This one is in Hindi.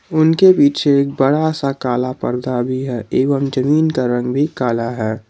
उनके पीछे एक बड़ा सा काला पर्दा भी है एवं जमीन का रंग भी काला है।